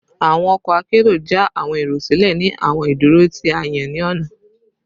Awọn ọkọ akero ja awọn ero silẹ ni awọn iduro ti a yan ni ọna